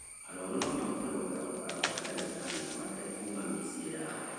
arũaru no mahote gwetha ũtaaro wa ndagĩtarĩ matekũma mĩciĩ yao,